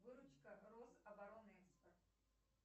выручка рособоронэкспорт